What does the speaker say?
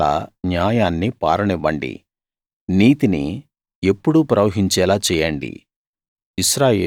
నీళ్లలా న్యాయాన్ని పారనివ్వండి నీతిని ఎప్పుడూ ప్రవహించేలా చేయండి